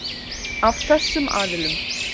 Af þessum aðilum.